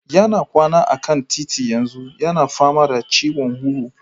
Yana kwana akan titi yanzu yana fama da ciwon huhu.